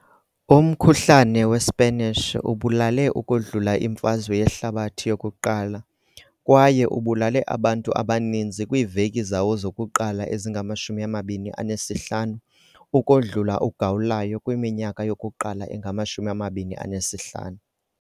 Umkhuhlane weSpanish ubulale ukodlula iMfazwe yeHlabathi yoku-1 kwaye ubulale abantu abaninzi kwiiveki zawo zokuqala ezingama-25 ukodlula uGawulayo kwiminyaka yokuqala engama-25.